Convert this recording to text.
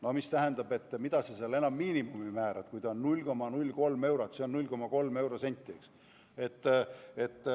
No see tähendab, et mida sa seal enam miinimumi määrad, kui ta on niigi 0,03 eurot, see on 0,3 eurosenti.